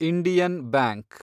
Indian bank